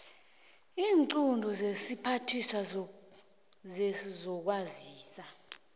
iinqunto zesiphathiswa sezokwazisa